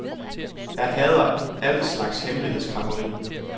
Jeg hader al slags hemmelighedskræmmeri.